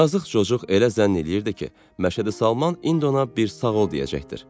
Yazıq cocuq elə zənn eləyirdi ki, Məşədi Salman indi ona bir sağ ol deyəcəkdir.